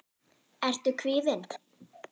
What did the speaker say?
Ertu kvíðinn?